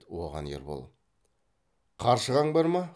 оған ербол қаршығаң бар ма